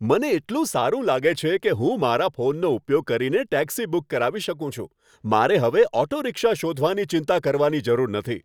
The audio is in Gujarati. મને એટલું સારું લાગે છે કે હું મારા ફોનનો ઉપયોગ કરીને ટેક્સી બુક કરાવી શકું છું. મારે હવે ઓટો રિક્ષા શોધવાની ચિંતા કરવાની જરૂર નથી.